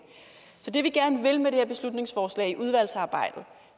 så det vi gerne vil med det her beslutningsforslag i udvalgsarbejdet